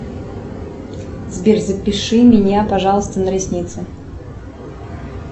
сбер запиши меня пожалуйста на ресницы